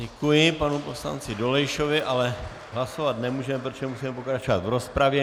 Děkuji panu poslanci Dolejšovi, ale hlasovat nemůžeme, protože musíme pokračovat v rozpravě.